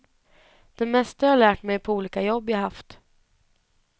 Det mesta har jag lärt mig på olika jobb jag haft.